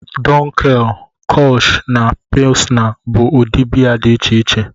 Dunkel, Kolsch na Pilsner bụ ụdị biya dị iche iche